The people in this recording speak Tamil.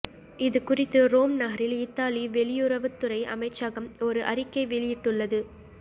இதுகுறித்து ரோம்நகரில் இத்தாலி வெளியுறவுத்துறை அமைச்சகம் ஒரு அறிக்கை வெளியிட்டுள்ளது